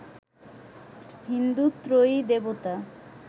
হিন্দু ত্রয়ী দেবতা